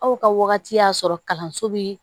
Aw ka wagati y'a sɔrɔ kalanso bi